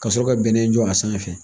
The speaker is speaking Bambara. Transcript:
Ka sɔrɔ ka bɛnɛ jɔ a sanfɛ